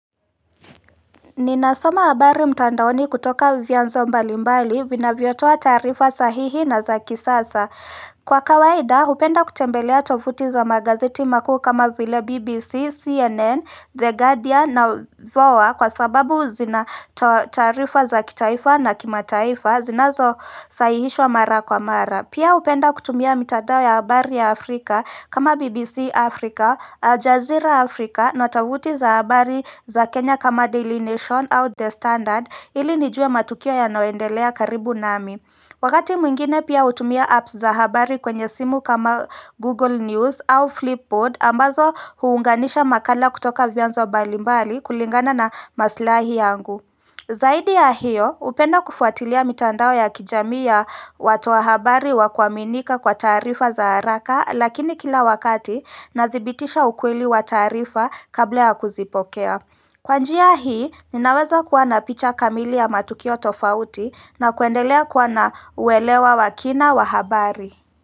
Ninasoma habari mtandaoni kutoka vyanzo mbalimbali vinavyotoa taarifa sahihi na za kisasa. Kwa kawaida hupenda kutembelea tovuti za magazeti makuu kama vile BBC, CNN, The Guardian na VOA kwa sababu zinatoa taarifa za kitaifa na kimataifa zinazosahihishwa mara kwa mara. Pia hupenda kutumia mitandao ya habari ya Afrika kama BBC Africa, Al Jazeera Africa, na tovuti za habari za Kenya kama Daily Nation au The Standard ili nijue matukio yanayoendelea karibu nami. Wakati mwingine pia hutumia apps za habari kwenye simu kama Google News au Flipboard ambazo huunganisha makala kutoka vyanzo mbalimbali kulingana na maslahi yangu. Zaidi ya hiyo hupenda kufuatilia mitandao ya kijamii ya watoa habari wa kuaminika kwa taarifa za haraka lakini kila wakati nadhibitisha ukweli wa taarifa kabla ya kuzipokea. Kwa njia hii ninaweza kuwa na picha kamili ya matukio tofauti na kuendelea kuwa na uelewa wa kina wa habari.